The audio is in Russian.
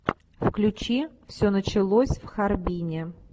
включи все началось в харбине